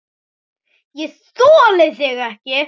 ÉG ÞOLI ÞIG EKKI!